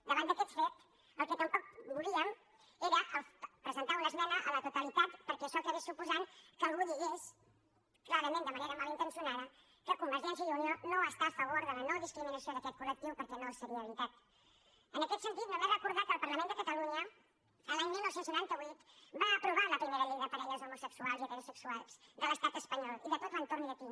davant d’aquest fet el que tampoc volíem era presentar una esmena a la totalitat perquè això acabés suposant que algú digués clarament de manera malintencionada que convergència i unió no està a favor de la nodiscriminació d’aquest col·en aquest sentit només recordar que el parlament de catalunya l’any dinou noranta vuit va aprovar la primera llei de parelles homosexuals i heterosexuals de l’estat espanyol i de tot l’entorn llatí